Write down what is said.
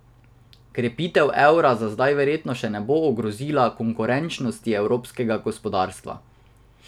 Krepitev evra za zdaj verjetno še ne bo ogrozila konkurenčnosti evropskega gospodarstva.